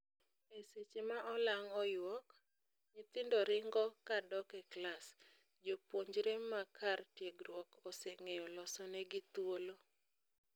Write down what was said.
E seche ma olang oyuok, nyithindo ringo kadok e klas, jopuonjre ma kar tiegruok oseng'eyo loso ne gi thuolo